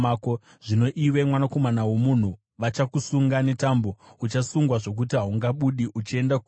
Zvino iwe, mwanakomana womunhu, vachakusunga netambo; uchasungwa zvokuti haungabudi uchienda kuvanhu.